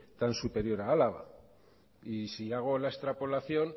tan superior a álava y si hago la extrapolación